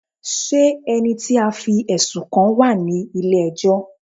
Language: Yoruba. Ṣé ẹni tí a fí ẹ̀sùn kàn wá ní ilé ẹjọ́?